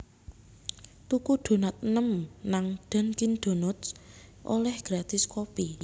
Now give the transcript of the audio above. Tuku donat enem nang Dunkin Donuts oleh gratis kopi